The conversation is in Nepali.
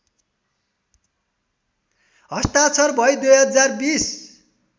हस्ताक्षर भई २०२०